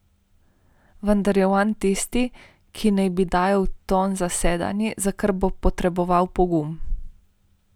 Vendar je on tisti, ki naj bi dajal ton zasedanju, za kar bo potreboval pogum.